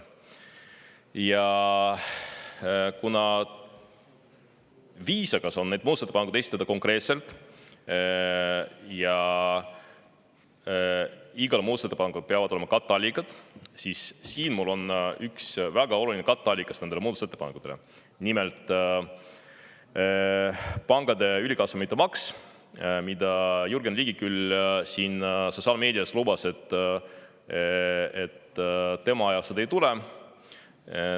Ja kuna viisakas on muudatusettepanekud esitada konkreetselt ja igal muudatusettepanekul peavad olema katteallikad, siis siin mul on üks väga oluline katteallikas nendele muudatusettepanekutele: nimelt, pankade ülikasumite maks, mille kohta Jürgen Ligi küll sotsiaalmeedias ütles, et tema ajal seda ei tule.